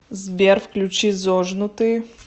сбер включи зожнутые